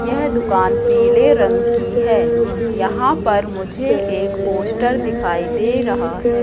यह दुकान पीले रंग की है। यहां पर मुझे एक पोस्ट दिखाई दे रहा है।